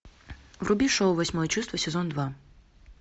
вруби шоу восьмое чувство сезон два